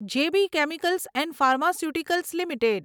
જે B chemicals and pharmaceuticals limited